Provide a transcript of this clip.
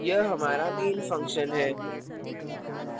यह हमरा main function है